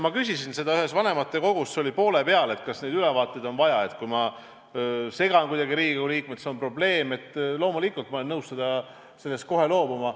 Ma küsisin ühes vanematekogus, see oli seal poole peal, kas neid ülevaateid on vaja, et kui ma segan kuidagi Riigikogu liikmeid ja see on probleem, siis loomulikult ma olen nõus nendest kohe loobuma.